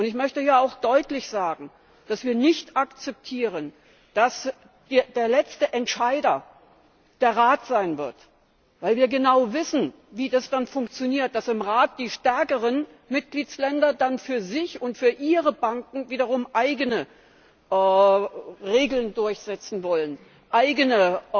Ich möchte hier auch deutlich sagen, dass wir nicht akzeptieren, dass der letzte Entscheider der Rat sein wird, weil wir genau wissen, wie das dann funktioniert Die stärkeren Mitgliedsländer im Rat wollen dann für sich und für ihre Banken wiederum eigene Regeln durchsetzen, lassen eigene